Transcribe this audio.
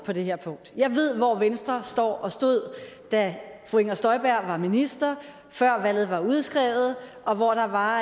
på det her punkt jeg ved hvor venstre står og stod da fru inger støjberg var minister før valget var udskrevet og hvor der var